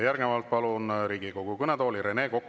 Järgnevalt palun Riigikogu kõnetooli, Rene Kokk.